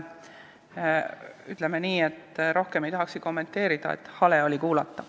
Ütleme nii, et rohkem ei tahakski kommenteerida, hale oli kuulata.